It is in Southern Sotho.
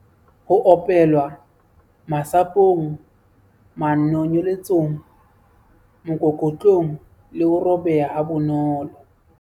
Ho opelwa- Masapong, manonyeletsong, mokokotlong le ho robeha ha bonolo.